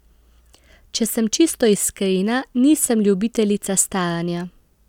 Če sem čisto iskrena, nisem ljubiteljica staranja.